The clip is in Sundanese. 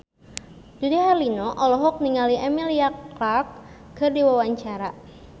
Dude Herlino olohok ningali Emilia Clarke keur diwawancara